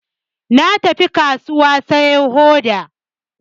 Na tafi kasuwa siyo hoda